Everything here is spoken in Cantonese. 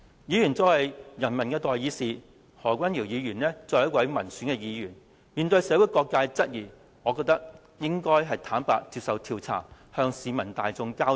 議員作為人民的代議士，何君堯議員作為民選議員，面對社會各界質疑，我認為他應該坦然接受調查，向市民大眾交代。